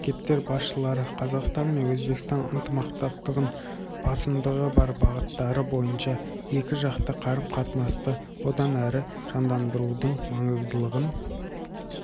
мемлекеттер басшылары қазақстан мен өзбекстан ынтымақтастығының басымдығы бар бағыттары бойынша екіжақты қарым-қатынасты одан әрі жандандырудың маңыздылығын